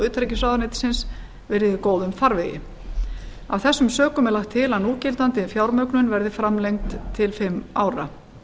utanríkisráðuneytisins verið í góðum farvegi af þessum sökum er lagt til að núgildandi fjármögnun verði framlengd til fimm ára